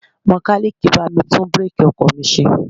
Mekaniiki bá mi tún bireeki ọkọ̀ mi ṣe.